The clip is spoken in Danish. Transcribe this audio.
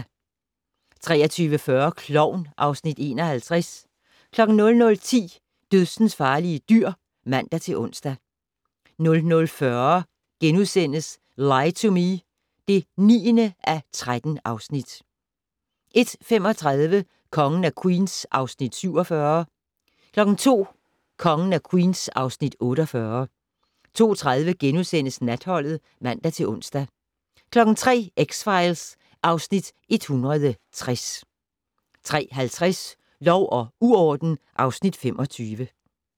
23:40: Klovn (Afs. 51) 00:10: Dødsensfarlige dyr (man-ons) 00:45: Lie to Me (9:13)* 01:35: Kongen af Queens (Afs. 47) 02:00: Kongen af Queens (Afs. 48) 02:30: Natholdet *(man-ons) 03:00: X-Files (Afs. 160) 03:50: Lov og uorden (Afs. 25)